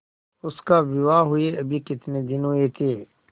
उसका विवाह हुए अभी कितने दिन हुए थे